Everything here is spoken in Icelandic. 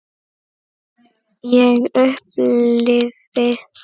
Ég upplifi það þannig.